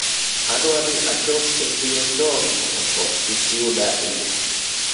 adwa ni achop e siro chon mondo koth kik yuda e yo